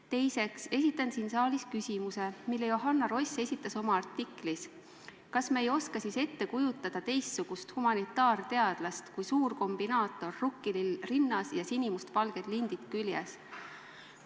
Teiseks esitan siin saalis küsimuse, mille Johanna Ross esitas oma artiklis: "Kas me ei oska siis ette kujutada teistsugust humanitaarteadlast kui suur kombinaator, rukkilill rinnas ja sinimustvalged lindid küljes?